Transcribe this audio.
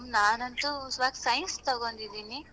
ನಾನಂತೂ ಈವಾಗ್ science ತಕೊಂಡಿದೀನಿ.